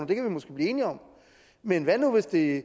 det kan vi måske blive enige om men hvad nu hvis det